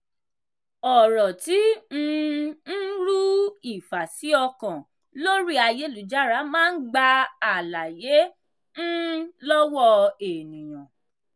ọ̀rọ̀ tí um ń ru ìfàsí-ọkàn lórí ayélujára máa ń gba àlàyé um lọ́wọ́ ènìyàn.